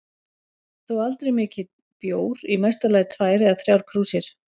Þó aldrei mikinn bjór, í mesta lagi tvær eða þrjár krúsir.